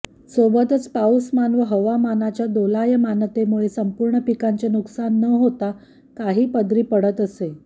सोबतच पाऊसमान व हवामानच्या दोलायमानतेमुळे संपूर्ण पिकांचे नुकसान न होता काही पदरी पडत असे